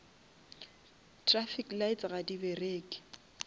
traffic lights ga di bereke